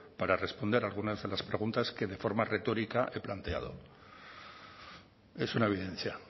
para responder algunas de las preguntas que de forma retórica he planteado es una evidencia